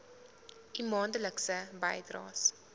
u maandelikse bydraes